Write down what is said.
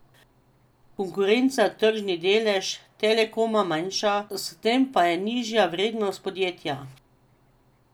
Konkurenca tržni delež Telekoma manjša, s tem pa je nižja vrednost podjetja.